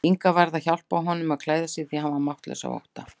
Inga varð að hjálpa honum að klæða sig því hann var máttlaus af ótta.